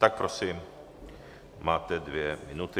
Tak prosím, máte dvě minuty.